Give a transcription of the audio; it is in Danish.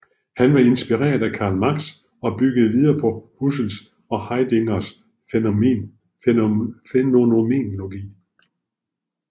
Han var inspireret af Karl Marx og byggede videre på Husserls og Heideggers fænomenologi